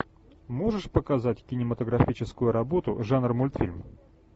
можешь показать кинематографическую работу жанр мультфильм